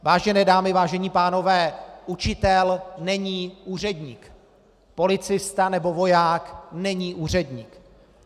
Vážené dámy, vážení pánové, učitel není úředník, policista nebo voják není úředník.